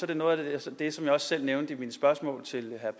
det noget af det som jeg også selv nævnte i mine spørgsmål til herre